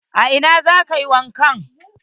A ina za ka yi wanka?